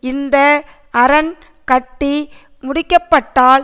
இந்த அரண் கட்டி முடிக்கப்பட்டால்